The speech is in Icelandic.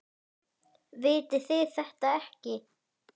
Vitið þið þetta ekki?